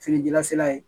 Feerejalasira ye